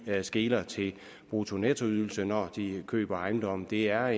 der skeler til bruttonettoydelser når de køber ejendomme det er